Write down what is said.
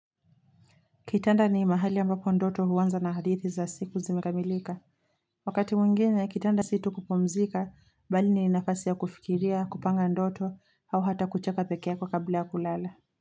Kitanda ni mahali ambapo ndoto huanza na hadithi za siku zimekamilika. Wakati mwingine, kitanda situ kupumzika, bali ni nafasi ya kufikiria, kupanga ndoto, au hata kucheka peke ako kabla ya kulala.